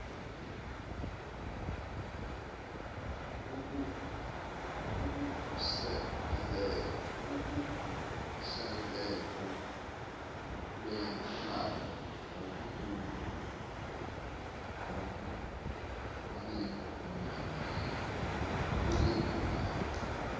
ukhuseleko lwentlalo ngokulinganayo